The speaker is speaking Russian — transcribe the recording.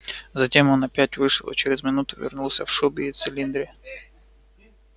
затем он опять вышел и через минуту вернулся в шубе и в цилиндре